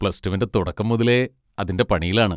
Plus റ്റുവിൻ്റെ തുടക്കം മുതലേ അതിൻ്റെ പണിയിലാണ്.